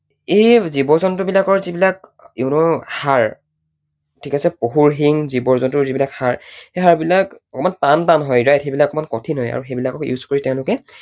এই জীৱ জন্তু বিলাকৰ যিবিলাক you know হাড় ঠিক আছে পশুৰ শিং, জীৱ জন্তুৰ যিবিলাক হাড়, সেই হাড়বিলাক অকণমান টান টান হৈ যায়, সেইবিলাক অকণমান কঠিন হয় আৰু সেইবিলাকো use কৰি তেঁওলোকে